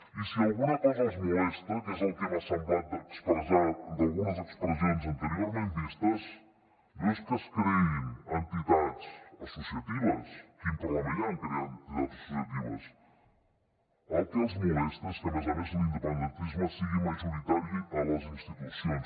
i si alguna cosa els molesta que és el que m’ha semblat d’algunes expressions anteriorment vistes no és que es creïn entitats associatives quin problema hi ha en crear entitats associatives el que els molesta és que a més a més l’independentisme sigui majoritari a les institucions